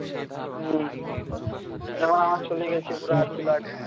হম যেমন আমার চলে গেছে পুরা আইছিল আর কি